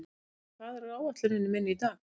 Hildur, hvað er á áætluninni minni í dag?